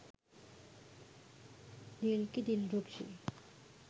dilki dilrukshi